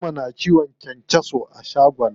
Fatima na kiwon kyankyaso a shagon ta.